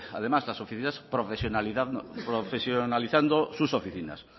además profesionalizando sus oficinas